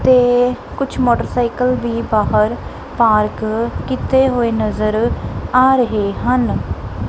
ਤੇ ਕੁਝ ਮੋਟਰਸਾਈਕਲ ਵੀ ਬਾਹਰ ਪਾਰਕ ਕੀਤੇ ਹੋਏ ਨਜ਼ਰ ਆ ਰਹੇ ਹਨ।